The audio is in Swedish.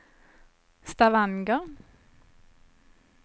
Stavanger